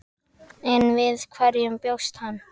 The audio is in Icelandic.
En við hverju bjóst hann?